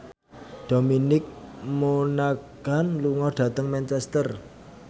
Dominic Monaghan lunga dhateng Manchester